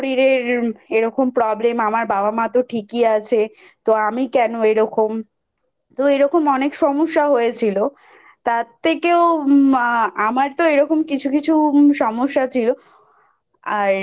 এরকম Problem আমার বাবা মতো ঠিকই আছে তো আমি কেন এরকম তো এরকম অনেক সমস্যা হয়েছিল। তার থেকেও মা আমার তো এরকম কিছু কিছু সমস্যা ছিল